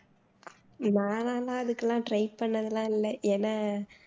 நானெல்லாம் அதுக்கெல்லாம் try பண்ணது எல்லாம் இல்ல ஏன்னா